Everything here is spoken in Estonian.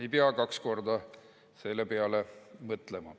Ei pea kaks korda selle peale mõtlema.